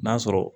N'a sɔrɔ